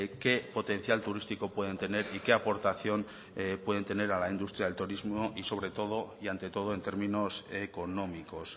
qué potencial turístico pueden tener y qué aportación pueden tener a la industria del turismo y sobre todo y ante todo en términos económicos